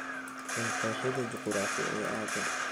hel qeexida juquraafi ee aaggan